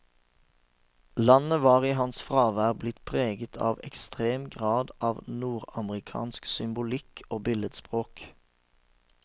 Landet var i hans fravær blitt preget i ekstrem grad av nordamerikansk symbolikk og billedspråk.